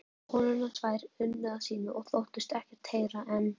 konurnar tvær unnu að sínu og þóttust ekkert heyra en